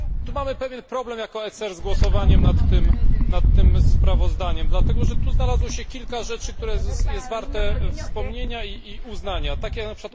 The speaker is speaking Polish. Mamy pewien problem jako ECR z głosowaniem nad tym sprawozdaniem, dlatego że tu znalazło się kilka rzeczy, które są warte wspomnienia i uznania, takie np.